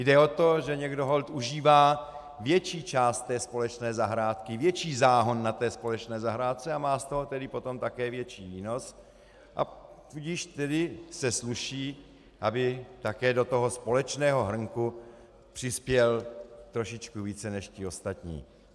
Jde o to, že někdo holt užívá větší část té společné zahrádky, větší záhon na té společné zahrádce a má z toho tedy potom také větší výnos, a tudíž se sluší, aby také do toho společného hrnku přispěl trošičku více než ti ostatní.